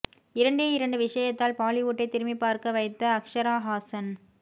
இரண்டே இரண்டு விஷயத்தால் பாலிவுட்டை திரும்பிப் பார்க்க வைத்த அக்ஷரா ஹாஸன்